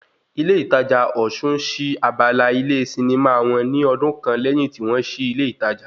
Ilé ìtajà Osun sí abala ilé sinimá wọn ní ọdún kan lẹ́yìn tí wọ́n sí ilé ìtajà